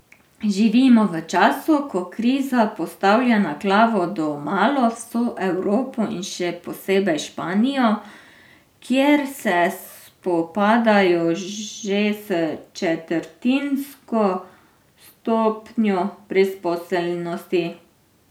Živimo v času, ko kriza postavlja na glavo domala vso Evropo in še posebej Španijo, kjer se spopadajo že s četrtinsko stopnjo brezposelnosti.